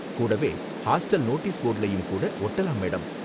கூடவே hostel notice போர்டுலயும் கூட ஒட்டலாம், மேடம்.